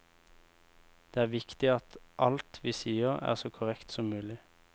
Det er viktig at alt vi sier er så korrekt som mulig.